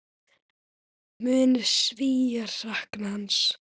Munu Svíar sakna hans?